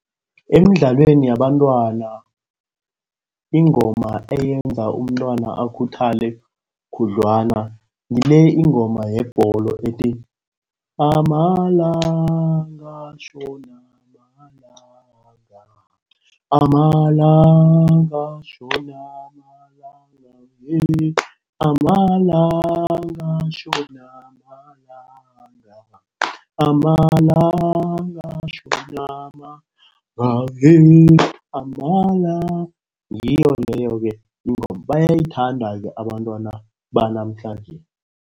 Emidlalweni yabantwana, ingoma eyenza umntwana akhuthale khudlwana. Ngile ingoma yebholo ethi, amalanga tjhona malanga. Amalanga, tjhona malanga. Amalanga, tjhona malanga. Amalanga, tjhona malanga. Ngiyo leyo-ke ingoma. Bayayithanda-ke abantwana banamhlanje.